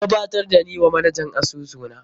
An gabatar da ni wa manajan asusu na.